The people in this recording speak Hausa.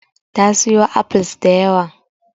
Ta siyo apples da yawa.